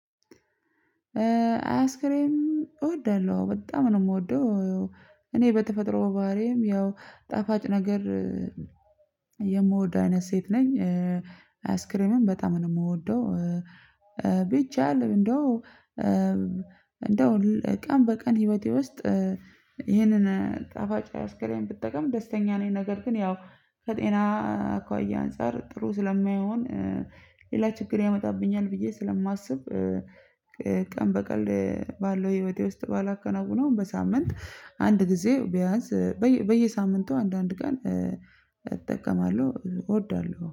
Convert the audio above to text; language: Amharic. አያስክሬም እወዳለሁ በጣም ነው የምወደው። እኔ በተፈጥሮ ባህሪዬም ያው ጣፋጭ ነገር የምወድ አይነት ሴት ነኝ። አይስክሬምም በጣም ነው የምወደው። ብቻ እንደው እንደው ቀን በቀን ህይወቴ ውስጥ ይህንን ጣፋጭ አይስክሬም ብጠቀም ደስተኛ ነኝ። ነገር ግን ያው ከጤና አኳያ አንፃር ጥሩ ስለማይሆን ሌላ ችግር ያመጣብኛል ብዬ ስለማስብ። ቀን በቀን ባለው ህይወቴ ውስጥ ባላከናውነውም በሳምንት አንድ ጊዜ ቢያንስ በየሳምንቱ አንዳንድ ቀን እጠቀማለሁ እወዳለሁ